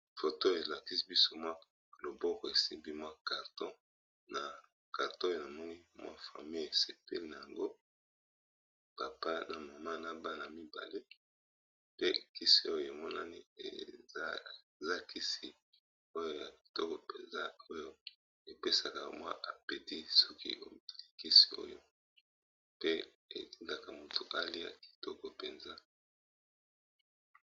Foto elakisi biso mwa loboko esimbi mwa karton. Na karto oyo na moni mwa famille esepeli na yango papa na mama na bana mibale. Pe kisi oyo emonani eza kisi oyo ya kitoko mpenza oyo epesaka mwa apeti. Soki olakisi kisi oyo pe etingaka moto aliya kitoko mpenza.